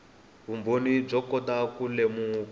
vumbhoni byo kota ku lemuka